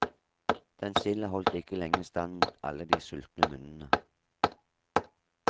Den silda holdt ikke lenge stand mot alle de sultne munnene.